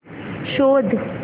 शोध